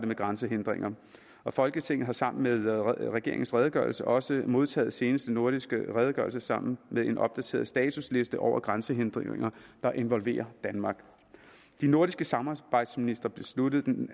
med grænsehindringer og folketinget har sammen med regeringens redegørelse også modtaget seneste nordiske redegørelse sammen med en opdateret statusliste over grænsehindringer der involverer danmark de nordiske samarbejdsministre besluttede den